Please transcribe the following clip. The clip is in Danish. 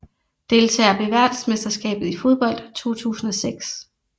Deltagere ved verdensmesterskabet i fodbold 2006